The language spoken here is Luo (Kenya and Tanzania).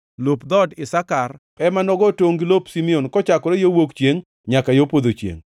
Lop dhood Isakar ema nogo tongʼ gi lop Simeon kochakore yo wuok chiengʼ nyaka yo podho chiengʼ.